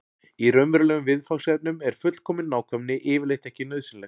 í raunverulegum viðfangsefnum er fullkomin nákvæmni yfirleitt ekki nauðsynleg